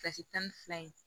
tan ni fila in